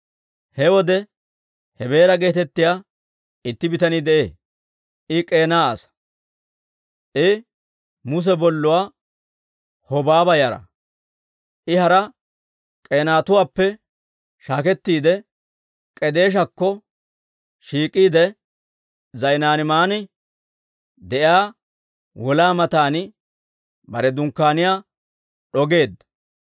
He wode Hebeera geetettiyaa itti bitanii de'ee; I K'eena asaa; I Muse bolluwaa Hobaaba yara. I hara K'eenatuwaappe shaakettiide, K'edeeshakko shiik'iide, Za'inaaniiman de'iyaa wolaa matan bare dunkkaaniyaa d'ogeedda.